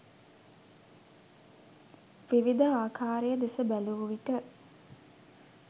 විවිධ ආකාරය දෙස බැලූ විට